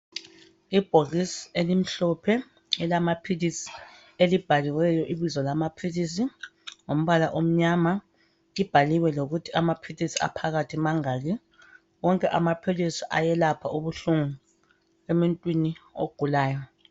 Ibhokisi elimhlophe elamaphilisi elibhaliweyo ibizo lamaphilisi ngombala omnyama. Libhaliwe lokuthi amaphilisi aphakathi mangaki. Wonke amaphilisi ayelapha ubuhlungu emuntwini ogulayo.